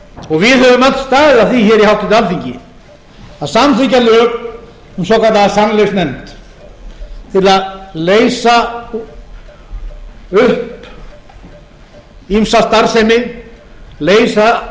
og við höfum öll staðið að því hér í háttvirtu alþingi að samþykkja lög um svokallaða sannleiksnefnd til að leysa upp ýmsa starfsemi leysa af